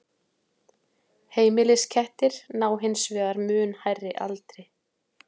heimiliskettir ná hins vegar mun hærri aldri